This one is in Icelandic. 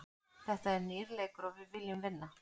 Þetta er nýr leikur og við viljum vinna.